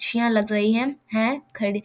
छिया लग रही है है खड़ी --